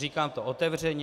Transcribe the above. Říkám to otevřeně.